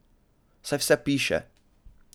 Saj vse piše!